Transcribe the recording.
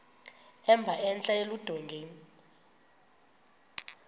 emba entla eludongeni